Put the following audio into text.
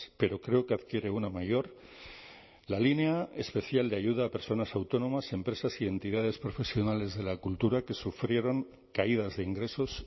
pero creo que adquiere una mayor la línea especial de ayuda a personas autónomas empresas y entidades profesionales de la cultura que sufrieron caídas de ingresos